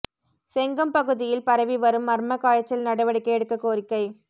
செங்கம் பகுதியில் பரவி வரும் மா்மக் காய்ச்சல் நடவடிக்கை எடுக்கக் கோரிக்கை